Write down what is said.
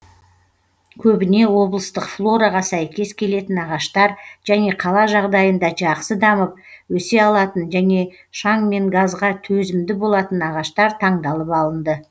көбіне облыстық флораға сәйкес келетін ағаштар және қала жағдайында жақсы дамып өсе алатын және шаң мен газға төзімді болатын ағаштар таңдалып алынды